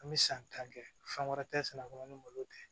An bɛ san tan kɛ fɛn wɛrɛ tɛ sɛnɛ kɔnɔ ni malo tɛ